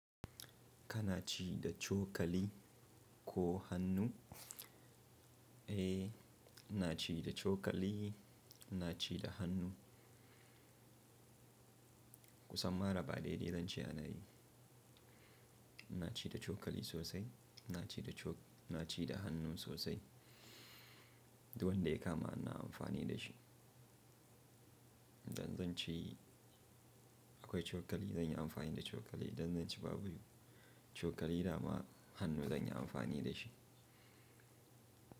Kana ci da cokali ko hannu? Eh, ina ci da cokali, ina ci da hannu. Kusan ma raba ɗai dai zance ana yi. Ina ci da cokali sosai, ina ci da cok-- ina ci da hannu sosai. Duk wanda ya kama ina amfani da shi. Idan zan ci akwai cokali, zan yi amfani da cokali. Idan zan ci baburu, cokali dama hannu zan yi amfani da shi.